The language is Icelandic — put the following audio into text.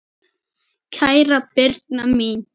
Kæra Birna mín.